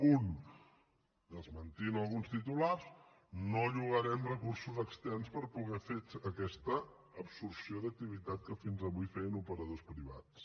un desmentint alguns titulars no llogarem recursos externs per poder fer aquesta absorció d’activitat que fins avui feien operadors privats